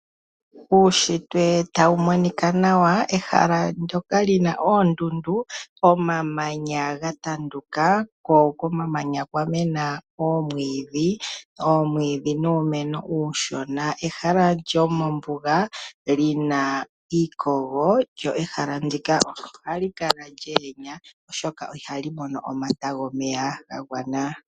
Uushitwe ta wu monika nawa, ehala ndjoka li na oondundu, omamanya ga tanduka, komamanya kwa mena omwiidhi, nuumeno uushona, ehala lyomombuga lina iikogo, lyo ehala ndjika oha li kala lya yenya oshoka iha li mono omata gomeya ga gwana.